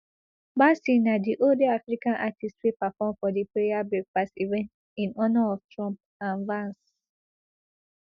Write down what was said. bassey na di only african artist wey perform for di prayer breakfast event in honour of trump and vance